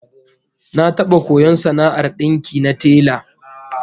Na taba koyon sana'ar dinki na tela